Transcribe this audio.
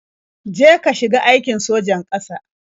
Je ka shiga aikin sojan ƙasa.